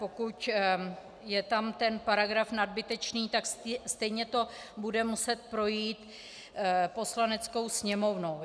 Pokud je tam ten paragraf nadbytečný, tak stejně to bude muset projít Poslaneckou sněmovnou.